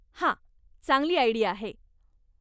हा, चांगली आईडिया आहे.